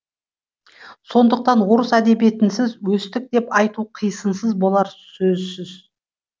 сондықтан орыс әдебиетінсіз өстік деп айту қисынсыз болары сөзсіз